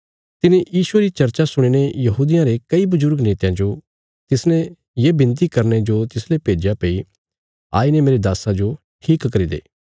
तिने यीशुये री चर्चा सुणीने यहूदियां रे कई बजुर्ग नेतयां जो तिसने ये बिनती करने जो तिसले भेज्या भई आईने मेरे दास्सा जो ठीक करी दे